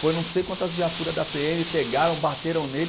Foi não sei quantas viaturas da pê eme, pegaram, bateram nele.